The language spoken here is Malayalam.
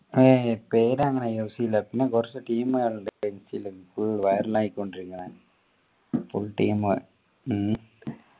അയ് പേര് അങ്ങനെ use ചെയ്യില്ല പിന്നെ കുറച്ചു team കാറുണ്ട് ലു full viral ആയിക്കൊണ്ടിരിക്കുന്നെ full team ഉം